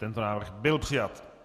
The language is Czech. Tento návrh byl přijat.